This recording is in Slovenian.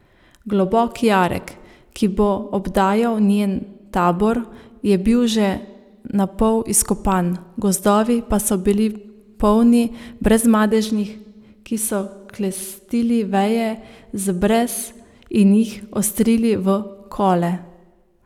Globok jarek, ki bo obdajal njen tabor, je bil že napol izkopan, gozdovi pa so bili polni Brezmadežnih, ki so klestili veje z brez in jih ostrili v kole.